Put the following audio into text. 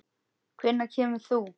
Hvenær kemur þú?